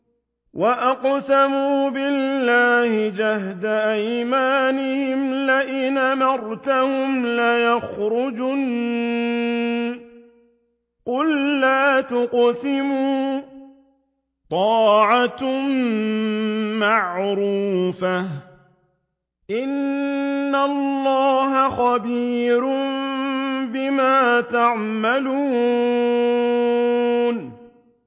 ۞ وَأَقْسَمُوا بِاللَّهِ جَهْدَ أَيْمَانِهِمْ لَئِنْ أَمَرْتَهُمْ لَيَخْرُجُنَّ ۖ قُل لَّا تُقْسِمُوا ۖ طَاعَةٌ مَّعْرُوفَةٌ ۚ إِنَّ اللَّهَ خَبِيرٌ بِمَا تَعْمَلُونَ